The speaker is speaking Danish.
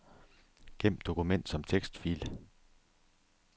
Gem dokument som tekstfil.